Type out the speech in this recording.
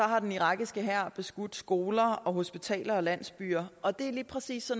har den irakiske hær beskudt skoler og hospitaler og landsbyer og det er lige præcis